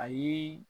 Ayi